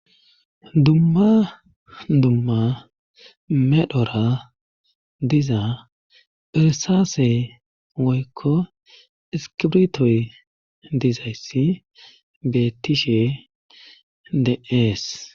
Dumma dumma medhdhora diza irsaase woykko iskibrtoy dizayssi beettishe de'ees